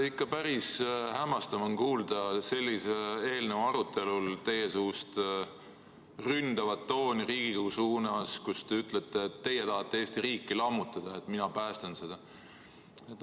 Ikka päris hämmastav on kuulda sellise eelnõu arutelul teie suust ründavat tooni Riigikogu suunas, kui te ütlete: "Teie tahate Eesti riiki lammutada, aga mina päästan seda.